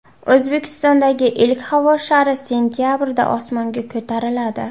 O‘zbekistondagi ilk havo shari sentabrda osmonga ko‘tariladi .